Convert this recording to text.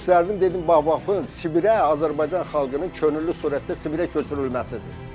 Onu göstərdim, dedim bax baxın, Sibirə Azərbaycan xalqının könüllü surətdə Sibirə köçürülməsidir.